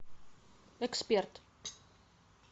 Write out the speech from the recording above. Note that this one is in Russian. эксперт